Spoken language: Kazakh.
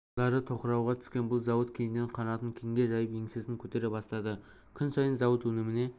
жылдары тоқырауға түскен бұл зауыт кейіннен қанатын кеңге жайып еңсесін көтере бастады күн сайын зауыт өніміне